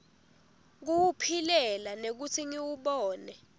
kuwuphilela nekutsi ngiwubone